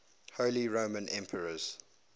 holy roman emperors